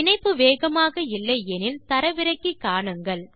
இணைப்பு வேகமாக இல்லை எனில் தரவிறக்கி காணுங்கள்